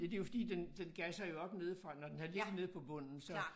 Ja det jo fordi den den gasser jo op nedefra når den har ligget nede på bunden så